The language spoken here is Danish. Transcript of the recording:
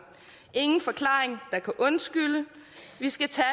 ingen forklaring der kan undskylde vi skal tage